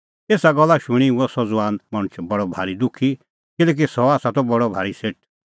एसा गल्ला शूणीं हुअ सह ज़ुआन मणछ बडअ भारी दुखी किल्हैकि सह त बडअ भारी सेठ